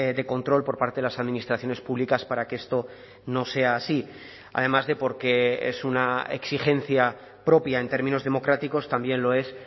de control por parte de las administraciones públicas para que esto no sea así además de porque es una exigencia propia en términos democráticos también lo es